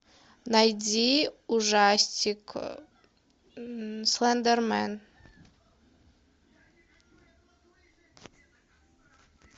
найди ужастик слендермен